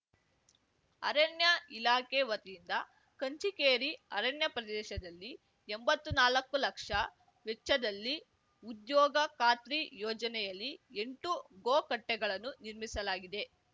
ಅರಣ್ಯ ಇಲಾಖೆ ವತಿಯಿಂದ ಕಂಚಿಕೇರಿ ಅರಣ್ಯ ಪ್ರದೇಶದಲ್ಲಿ ಎಂಬತ್ತು ನಾಲಕ್ಕು ಲಕ್ಷ ವೆಚ್ಚದಲ್ಲಿ ಉದ್ಯೋಗ ಖಾತ್ರಿ ಯೋಜನೆಯಲ್ಲಿ ಎಂಟು ಗೋಕಟ್ಟೆಗಳನ್ನು ನಿರ್ಮಿಸಲಾಗಿದೆ